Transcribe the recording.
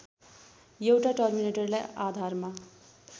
एउटा टर्मिनेटरलाई आधारमा